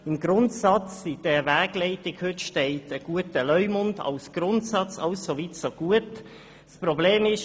In der Wegleitung steht heute als Grundsatz ein guter Leumund – alles soweit so gut.